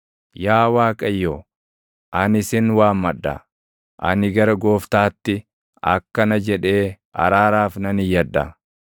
Yaa Waaqayyo, ani sin waammadha; ani gara Gooftaatti akkana jedhee araaraaf nan iyyadha: